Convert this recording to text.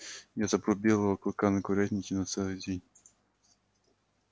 я запру белого клыка на курятнике на целый день